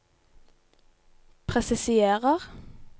presiserer